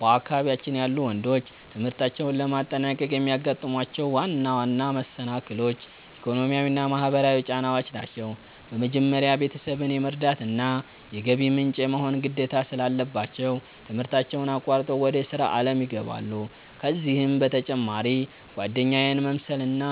በአካባቢያችን ያሉ ወንዶች ትምህርታቸውን ለማጠናቀቅ የሚያጋጥሟቸው ዋና ዋና መሰናክሎች፣ ኢኮኖሚያዊና ማህበራዊ ጫናዎች ናቸው። በመጀመሪያ፣ ቤተሰብን የመርዳትና የገቢ ምንጭ የመሆን ግዴታ ስላለባቸው፣ ትምህርታቸውን አቋርጠው ወደ ሥራ ዓለም ይገባሉ። ከዚህም በተጨማሪ ጓደኛን መምሰልና